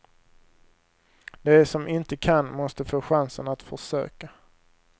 De som inte kan måste få chansen att försöka.